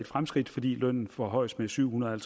fremskridt fordi lønnen forhøjes med syv hundrede og